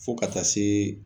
Fo ka taa se